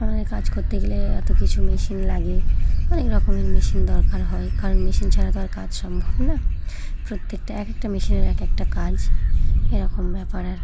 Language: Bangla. ওনে কাজ করতে গেলে এত কিছু মেশিন লাগে অনেক রকমের মেশিন দরকার হয় কারণ মেশিন ছাড়া তো আর কাজ সম্ভব না। প্রত্যেকটা এক একটা মেশিনের এক একটা কাজ এরকম ব্যাপার--